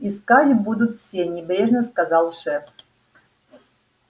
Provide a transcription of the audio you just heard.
искать будут все небрежно сказал шеф